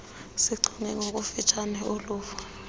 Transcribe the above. sichonge ngokufutshane uluvo